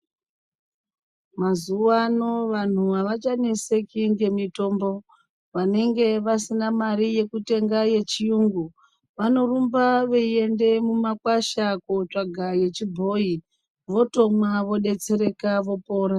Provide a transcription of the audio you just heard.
Mazuwa ano vanhu avachaneseki ngemitombo vanenga vasina mare yekutenga yechiyungu vanorumba veiende mumakwasha kotsvaga yechibhoyi votomwa vodetsereka vopora.